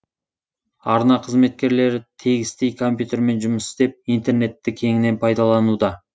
арна қызметкерлері тегістей компьютермен жұмыс істеп интернетті кеңінен пайдалануда